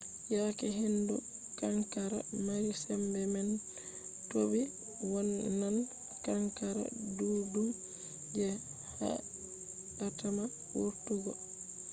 yake hendu kankara mari sembe man toɓi wonnan kankara ɗuɗɗum je haɗatama wurtugo